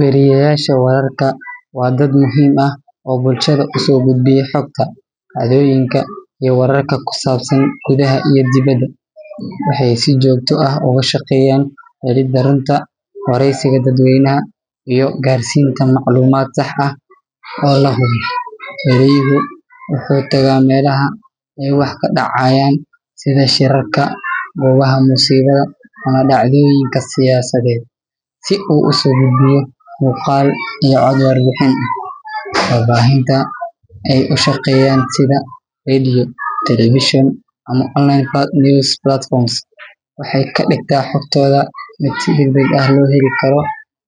Weriyeyaasha wararka waa dad muhiim ah oo bulshada u soo gudbiya xogta, dhacdooyinka, iyo wararka ku saabsan gudaha iyo dibadda. Waxay si joogto ah uga shaqeeyaan helidda runta, wareysiga dadweynaha, iyo gaarsiinta macluumaad sax ah oo la hubo. Weriyuhu wuxuu tagaa meelaha ay wax ka dhacayaan sida shirarka, goobaha musiibada, ama dhacdooyinka siyaasadeed, si uu usoo gudbiyo muuqaal iyo cod warbixin ah. Warbaahinta ay u shaqeeyaan sida radio, television, ama online news platforms waxay ka dhigtaa xogtooda mid si degdeg ah loo heli karo.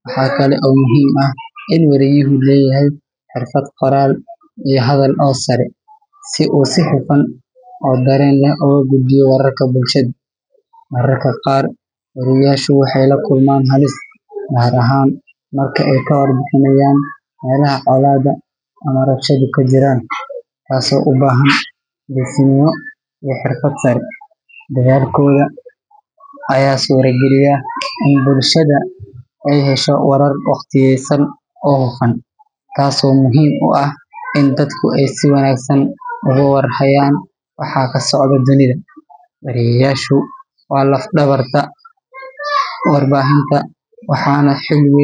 Waxaa kale oo muhiim ah in weriyuhu leeyahay xirfad qoraal iyo hadal oo sare, si uu si hufan oo dareen leh ugu gudbiyo wararka bulshada. Mararka qaar, weriyeyaashu waxay la kulmaan halis, gaar ahaan marka ay ka warbixinayaan meelaha colaadda ama rabshaduhu ka jiraan, taasoo u baahan geesinimo iyo xirfad sare. Dadaalkooda ayaa suurageliya in bulshada ay hesho warar waqtiyeysan oo hufan, taasoo muhiim u ah in dadku ay si wanaagsan uga war hayaan waxa ka socda dunida. Weriyeyaashu waa laf dhabarta warbaahinta, waxaana.